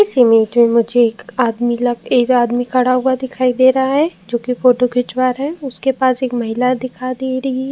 इस इमेज में मुझे एक आदमी लग एक आदमी खड़ा हुआ दिखाई दे रहा है जोकि फ़ोटो खिचवा रहा है। उसके पास महिला दिखा दे रही है।